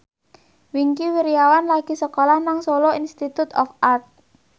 Wingky Wiryawan lagi sekolah nang Solo Institute of Art